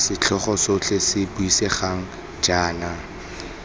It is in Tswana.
setlhogo sotlhe se buisegang jaana